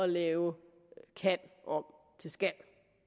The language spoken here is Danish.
lave kan om til skal